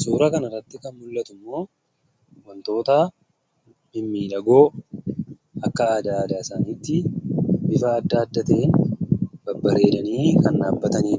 Suuraa kana gadii irratti kan argamu wantoota mimmiidhagoo bifa adda addaa akka aadaa aadaa isaaniitti uffata uffatanii babbareedanii kan dhaabbatanii